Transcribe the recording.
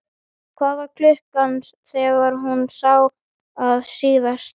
Hvað var klukkan þegar þú sást hann síðast?